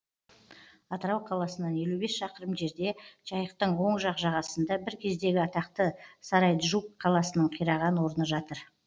атырау қаласынан елу бес шақырым жерде жайықтың оң жақ жағасында бір кездегі атақты сарайджук қаласының қираған орны жатыр